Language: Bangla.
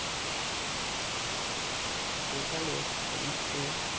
সে কালের সমস্ত